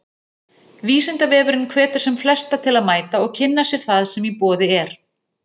Vísindavefurinn hvetur sem flesta til að mæta og kynna sér það sem í boði er.